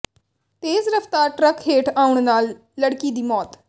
ਤੇਜ਼ ਰਫਤਾਰ ਟਰੱਕ ਹੇਠ ਆਉਣ ਨਾਲ ਲੜਕੀ ਦੀ ਮੌਤ